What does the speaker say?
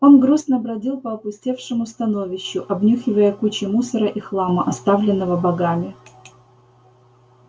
он грустно бродил по опустевшему становищу обнюхивая кучи мусора и хлама оставленного богами